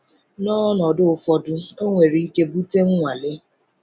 N’ọnọdụ ụfọdụ, ọ nwere ike bute nnwale